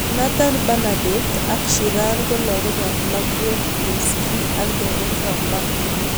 Nathan Bernaditte ak Sheeran ko lakok ab Margaret Buirski ak Derek Romburgh